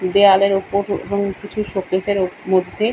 দেওয়ালের ওপর এ এবং কিছু শোকেসের মধ্যে।